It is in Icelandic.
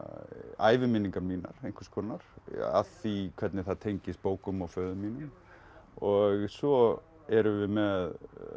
æviminningar mínar einhvers konar að því hvernig það tengist bókum og föður mínum og svo erum við með